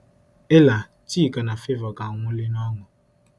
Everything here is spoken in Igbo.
Ella, Chika na Favour ga-anwulị n’ọṅụ.